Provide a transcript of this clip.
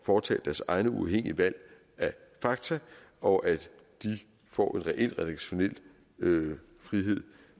foretage deres egne uafhængige valg af fakta og at de får en reel redaktionel frihed